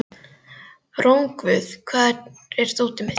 Rongvuð, hvar er dótið mitt?